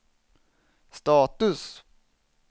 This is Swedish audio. status